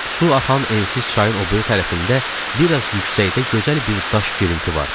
Su axan ensiz çayın o biri tərəfində bir az yüksəkdə gözəl bir daş girinti vardı.